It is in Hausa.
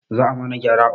Za a mana gyara a ofis